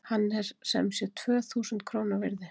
Hann er sem sé tvö þúsund króna virði.